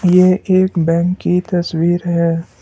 ये एक बैंक की तस्वीर है।